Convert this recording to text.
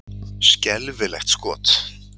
Skelfilegt skot!